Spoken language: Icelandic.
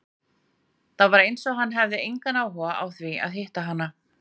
Það var eins og hann hefði engan áhuga á því að hitta hana.